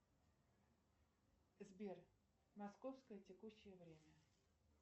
сбер московское текущее время